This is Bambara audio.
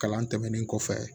Kalan tɛmɛnen kɔfɛ